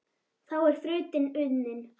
Þá er þrautin unnin